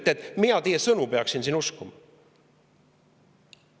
Ja te ütlete, et mina peaksin teie sõnu uskuma.